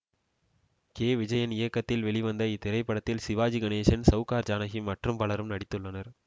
K Vijayan இயக்கத்தில் வெளிவந்த இத்திரைப்படத்தில் சிவாஜி கணேசன் சௌகார் ஜானகி மற்றும் பலரும் நடித்துள்ளனர்